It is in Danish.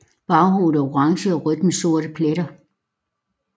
Baghovedet er orange og rødt med sorte pletter